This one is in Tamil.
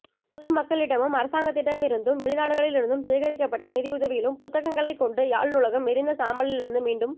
பொதுமக்களிடமும் அரசாங்கத்திடமிருந்தும் வெளிநாடுகளிலிருந்தும் சேகிரிக்கப்பட்ட நிதியுதவியிலும் புத்தகங்களைக் கொண்டும் யாழ் நூலகம் எரிந்த சாம்பலிலிருந்து மீண்டும்